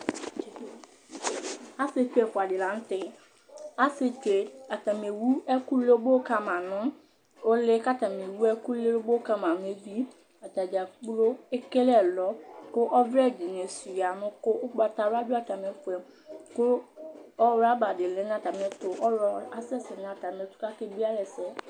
Asiɛtsu ɛfʋa dìŋí la ŋtɛ Ewʋ ɛku lobo ŋu uli kʋ ewu ɛku lobo ŋu evi Atadza kplo kele ɛlɔ Ɔgnlɔ asɛsɛ ŋu atami ɛtu kʋ akebiealɛsɛ